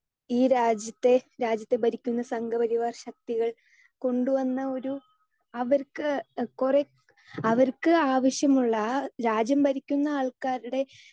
speaker 2 ഈ രാജ്യത്തെ രാജ്യത്തെ ഭരിക്കുന്ന സംഘ പരിവാർ ശക്തികൾ കൊണ്ടുവന്ന ഒരു അവർക്ക് കൊറേ അവർക്ക് ആവശ്യമുള്ള രാജ്യം ഭരിക്കുന്ന ആൾക്കാരുടെ